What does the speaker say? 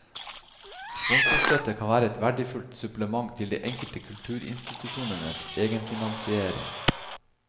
Sponsorstøtte kan være et verdifullt supplement til de enkelte kulturinstitusjonenes egenfinansiering.